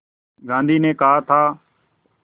गांधी ने कहा था